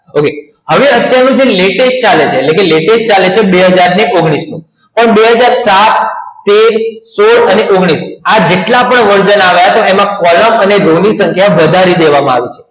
હવે અત્યારનું જે latest ચાલે છે એટલે કે latest ચાલે છે બે હજાર ઓગણીસ નું તોબે હજાર ચાર બે હજાર તેર બે હજાર સોડ ઓગણીસ જેટલા પણ version આવ્યા તેમાં કોલમ અને રોની સંખ્યા વધારી દેવામાં આવી છે